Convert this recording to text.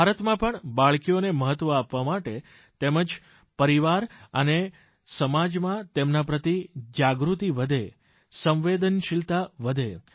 ભારતમાં પણ બાળકીઓને મહત્વ આપવા તેમજ પરિવાર અને સમાજમાં તેમના પ્રતિ જાગૃતિ વધે સંવેદનશિલતા વધે